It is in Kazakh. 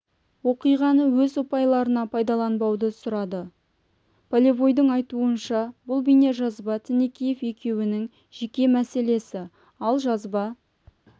оқиғаны өз ұпайларына пайдаланбауды сұрады полевойдың айтуынша бұл бейнежазба тінікеев екеуінің жеке мәселесі ал жазба